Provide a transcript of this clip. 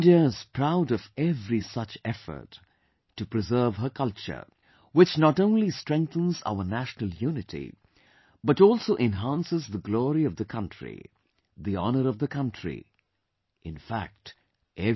India is proud of every such effort to preserve her culture, which not only strengthens our national unity but also enhances the glory of the country, the honour of the country... infact, everything